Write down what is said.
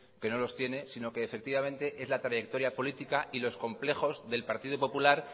que no los tiene sino que efectivamente es la trayectoria política y los complejos del partido popular